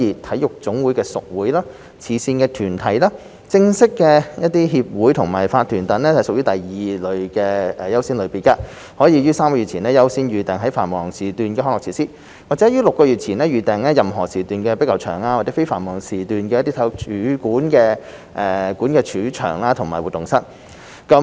體育總會的屬會、慈善團體、正式協會和法團等則屬第二優先類別，可於3個月前優先預訂在繁忙時段的康樂設施，或於6個月前預訂任何時段的壁球場及在非繁忙時段的體育館主場和活動室。